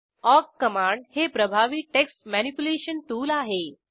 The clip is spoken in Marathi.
ऑक कमांड हे प्रभावी टेक्स्ट मॅनिप्युलेशन टूल आहे